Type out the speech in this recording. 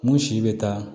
Mun si bɛ taa